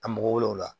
Ka mɔgɔ wele o la